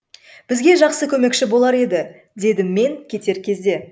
бізге жақсы көмекші болар еді дедім мен кетер кезде